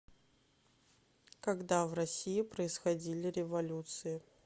когда в россии происходили революции